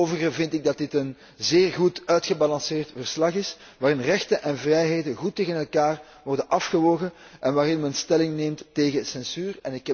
Voor het overige vind ik dat dit een zeer goed uitgebalanceerd verslag is, waarin rechten en vrijheden goed tegen elkaar worden afgewogen en waarin men stelling neemt tegen censuur.